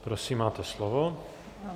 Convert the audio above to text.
Prosím, máte slovo.